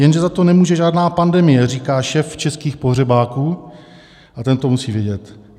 Jenže za to nemůže žádná pandemie, říká šéf českých pohřebáků, a ten to musí vědět.